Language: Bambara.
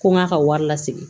Ko n k'a ka wari lasegin